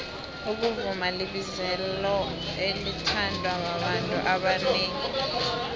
ukuvuma libizelo elithandwa babantu abanengi